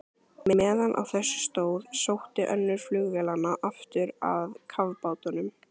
Meðan á þessu stóð, sótti önnur flugvélanna aftur að kafbátnum.